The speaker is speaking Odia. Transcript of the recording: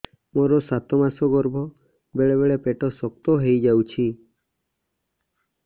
ମୋର ସାତ ମାସ ଗର୍ଭ ବେଳେ ବେଳେ ପେଟ ଶକ୍ତ ହେଇଯାଉଛି